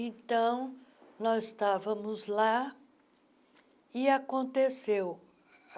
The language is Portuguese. Então, nós estávamos lá e aconteceu.